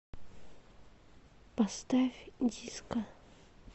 поставь диско